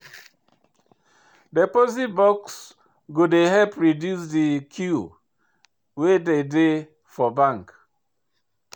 Deposit box go help reduce de queue wey dey dey for bank.